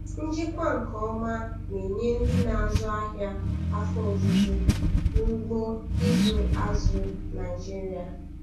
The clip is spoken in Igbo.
Njikwa nke ọma na-enye ndị na-azụ ahịa afọ ojuju n'ugbo ịzụ azụ Naịjiria.